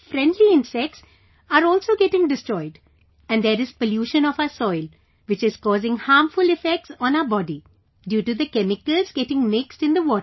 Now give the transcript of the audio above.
friendly insects are also getting destroyed and there is pollution of our soil which is causing harmful effects on our body due to the chemicals getting mixed in the water